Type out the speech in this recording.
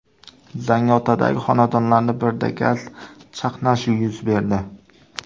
Zangiotadagi xonadonlarning birida gaz chaqnashi yuz berdi.